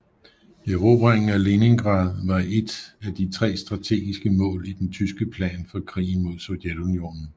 Erobringen af Leningrad var et af de tre strategiske mål i den tyske plan for krigen mod Sovjetunionen